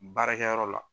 Baarakɛyɔrɔ la